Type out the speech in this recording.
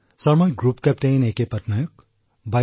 sir মই group captain A K Patnaik